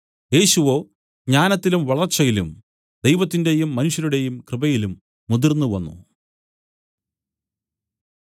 യേശുവോ ജ്ഞാനത്തിലും വളർച്ചയിലും ദൈവത്തിന്റെയും മനുഷ്യരുടെയും കൃപയിലും മുതിർന്നു വന്നു